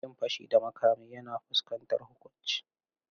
Yin fashi da makami yana fuskantar huƙunci.